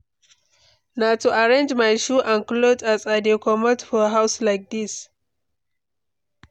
Na to arrange my shoe and clothe as I dey comot for house like dis.